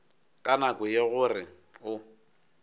ka nako ye gore o